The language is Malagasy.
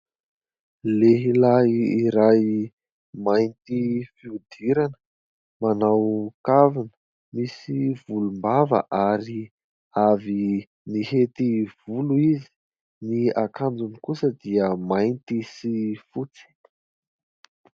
Lehilahy iray mainty fihodirana manao kavina, misy volombava ary avy nihety volo izy. Ny akanjony kosa dia mainty sy fotsy.